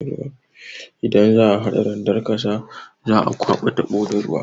Idan za'a hada randar ƙasa, za'a kwaba taɓo da ruwa.